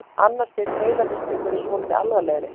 Annars stigs heilahristingur er svolítið alvarlegri.